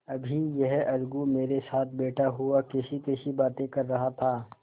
अभी यह अलगू मेरे साथ बैठा हुआ कैसीकैसी बातें कर रहा था